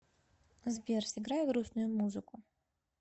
сбер сыграй грустную музыку